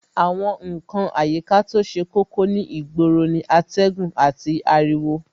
Àwọn ǹkan àyíká to ṣe kókó ní ìgboro ni atẹ́gùn àti ariwo